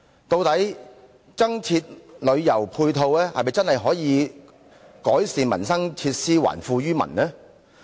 究竟增設旅遊配套是否真的可以改善民生，還富於民呢？